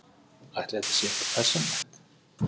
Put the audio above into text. Ætli þetta sé eitthvað persónulegt?